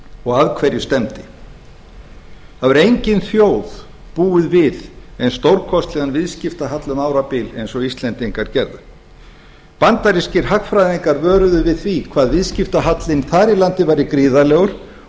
og að hverju stefni það hefur engin þjóð búið við eins stórkostlegan viðskiptahalla um árabil eins og íslendingar gerðu bandarískir hagfræðingar vöruðu við því hvað viðskiptahallinn þar í landi væri gríðarlegur